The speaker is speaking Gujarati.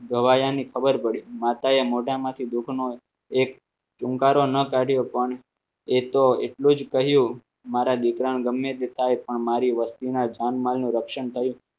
ગવાયાની ખબર પડી માતાએ મોઢામાંથી દુઃખનો એક ટૂંકા ન કાઢ્યો પણ એ તો એટલું જ કહ્યું મારા દીકરાને ગમે તે થાય પણ મારી વસ્તીના જાનમાલનું રક્ષણ થયું